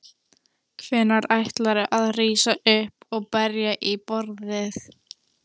Hvenær ætlarðu að rísa upp og berja í borðið?